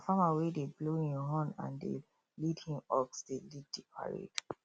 na farmer wey dey blow him horn and dey lead him ox dey lead the parade